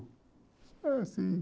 Eu, sim.